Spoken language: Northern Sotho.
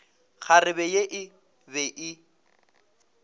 kgarebe ye e be e